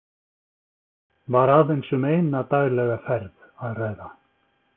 Var aðeins um eina daglega ferð að ræða.